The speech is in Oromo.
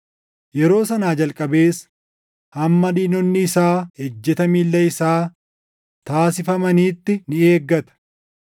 Yeroo sanaa jalqabees hamma diinonni isaa ejjeta miilla isaa taasifamanitti ni eeggata;